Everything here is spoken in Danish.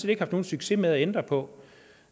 ikke haft nogen succes med at ændre på